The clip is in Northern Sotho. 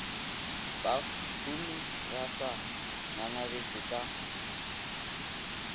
bahumi ba sa ngangabetše ka